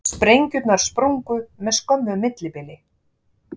Sprengjurnar sprungu með skömmu millibili